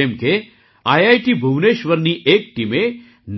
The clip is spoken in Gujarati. જેમ કે આઈઆઈટી ભુવનેશ્વરની એક ટીમે